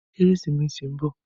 Kérésimési n bò